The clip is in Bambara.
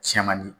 Cɛ man di